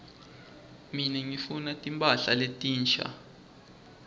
mine ngifuna timphahla letinsha